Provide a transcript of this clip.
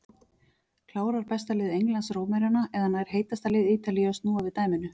Klárar besta lið Englands Rómverjana eða nær heitasta lið Ítalíu að snúa við dæminu?